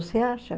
Você acha?